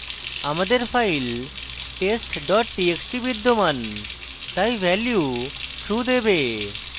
আমাদের file test dot txt বিদ্যমান txt value true হবে